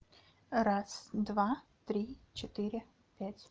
раз два три четыре пять